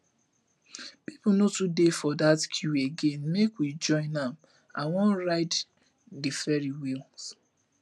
people no too dey for that queue again make we join am i wan ride the ferrys wheel